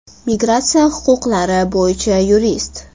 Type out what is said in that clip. Migratsiya huquqlari bo‘yicha yurist.